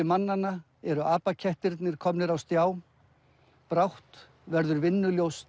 mannanna eru komnir á stjá brátt verður